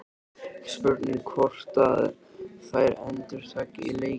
Spurning hvort að þær endurtaki leikinn?